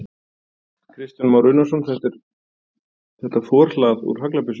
Kristján Már Unnarsson: Þetta er þetta forhlað úr haglabyssu?